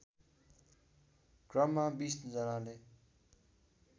क्रममा २० जनाले